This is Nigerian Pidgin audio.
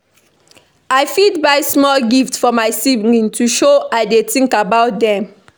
I fit buy small gift for my sibling to show I dey think about them.